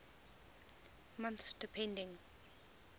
months depending